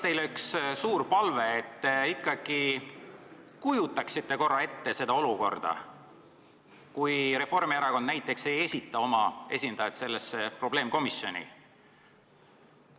Mul on teile suur palve, et te ikkagi kujutaksite korra ette seda olukorda, kus Reformierakond näiteks ei esita oma esindajat sellesse probleemkomisjoni.